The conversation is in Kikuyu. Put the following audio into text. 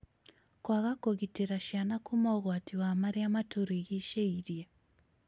Kwaga kũgitĩra ciana kuma ũgwati wa marĩa matũrigicĩirie